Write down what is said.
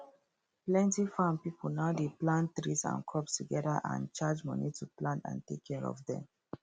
plenty farm pipo now dey plant trees and crops together and charge money to plant and take care of dem